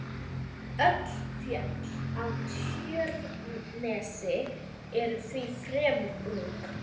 Öll fjöll á Tjörnesi eru því fremur ung.